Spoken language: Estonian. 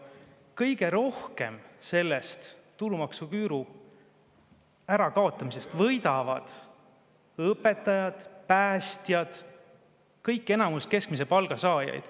Kõige rohkem võidavad tulumaksuküüru ärakaotamisest õpetajad, päästjad – enamik keskmise palga saajaid.